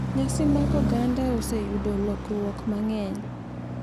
Nyasi mag oganda oseyudo lokruok mang'eny,